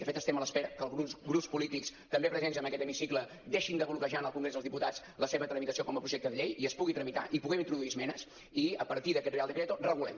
de fet estem a l’espera que alguns grups polítics també presents en aquest hemicicle deixin de bloquejar en el congrés dels diputats la seva tramitació com a projecte de llei i es pugui tramitar i hi puguem introduir esmenes i a partir d’aquest real decreto regulem